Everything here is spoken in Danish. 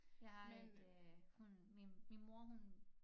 Jeg har et øh hund min min mor hun